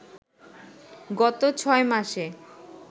গত ছয়মাসে